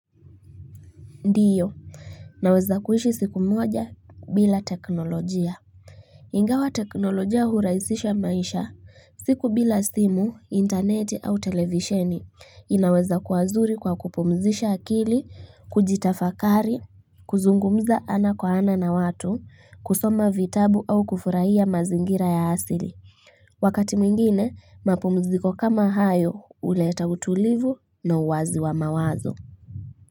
Ndio naweza kuishi siku moja bila teknolojia ingawa teknolojia hurahisisha maisha siku bila simu internet au televisheni inaweza kuwa nzuri kwa kupumzisha akili kujitafakari kuzungumza ana kwa ana na watu kusoma vitabu au kufurahia mazingira ya asili wakati mwingine mapumziko kama hayo uleta utulivu na uwazi wa mawazo.